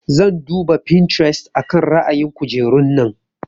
Zan duba Pinterest akan ra'ayin kujerun nan.